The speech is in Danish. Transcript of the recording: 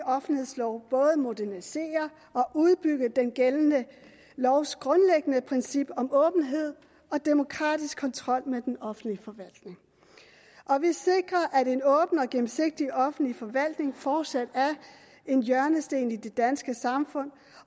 offentlighedslov både modernisere og udbygge den gældende lovs grundlæggende princip om åbenhed og demokratisk kontrol med den offentlige forvaltning vi sikrer at en åben og gennemsigtig offentlig forvaltning fortsat er en hjørnesten i det danske samfund